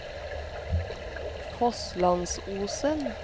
Fosslandsosen